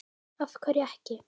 Af hverju ekki?